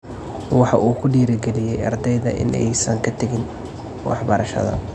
Waxa uu ku dhiiri galiyay ardayda in aysan ka tagin waxbarashada?